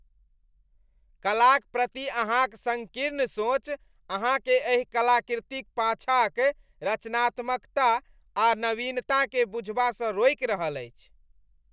कलाक प्रति अहाँक सङ्कीर्ण सोच अहाँकेँ एहि कलाकृतिक पाछाँक रचनात्मकता आ नवीनताकेँ बुझबासँ रोकि रहल अछि।